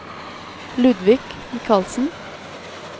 Ludvig Michaelsen